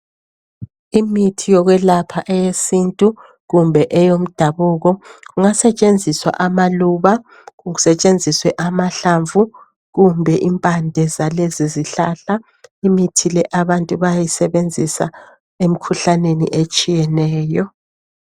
Imithi yokwelapha eyesintu kumbe eyomdabuko. Kungasetshenziswa amaluba kusetshenziswe amahlamvu kumbe impande zalezi zihlahla. Imithi le abantu bayayisebenzisa emkhuhlaneni etshiyeneyo.